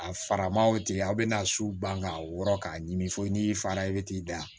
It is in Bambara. A faraman wo tɛ yen aw bɛna su ban k'a wɔrɔn k'a ɲimi fo n'i fa ye bɛ t'i da